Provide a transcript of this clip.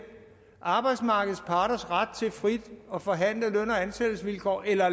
arbejdsmarkedets parters ret til frit at forhandle løn og ansættelsesvilkår eller